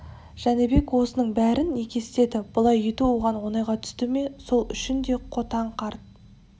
жәнібек осының бәрін неге істеді бұлай ету оған оңайға түсті ме сол үшін де қотан қарт